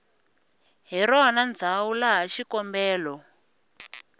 hi rona ndzhawu laha xikombelo